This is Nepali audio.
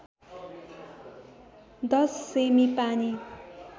१० सेमि पानी